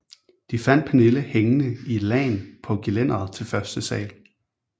De fandt Pernille hængende i et lagen på gelænderet til første sal